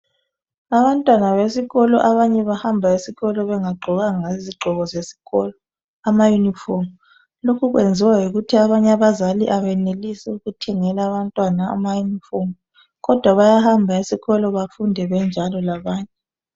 Abantwana besikolo abanye bahamba esikolo bengagqokanga izigqoko zeskolo amayunifomu. Lokhu kuyenziwa yikuthi abanye abazali kabayenelisi ukuthengala abantwana amayunifomu, kodwa bayahamba esikolo befunde benjalo labanye.